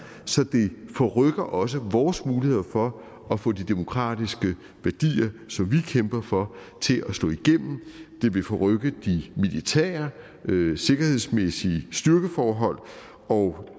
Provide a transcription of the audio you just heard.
så det forrykker også vores muligheder for at få de demokratiske værdier som vi kæmper for til at slå igennem det vil forrykke de militære sikkerhedsmæssige styrkeforhold og